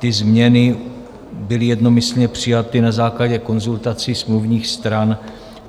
Ty změny byly jednomyslně přijaty na základě konzultací smluvních stran.